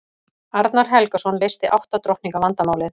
arnar helgason leysti átta drottninga vandamálið